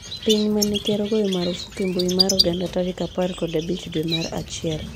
piny mane ker ogoyo marufuku mbui mar oganda tarik apar kod abich dwe mar achiel